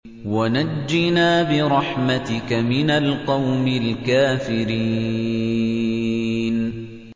وَنَجِّنَا بِرَحْمَتِكَ مِنَ الْقَوْمِ الْكَافِرِينَ